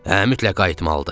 Hə, mütləq qayıtmalıdır.